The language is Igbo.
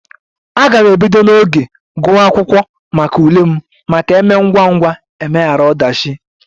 A ga m ebido n'oge guwa akwụkwọ maka ule m maka emee ngwangwa emeghara odachi